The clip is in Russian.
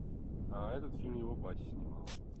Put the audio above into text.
а этот фильм его батя снимал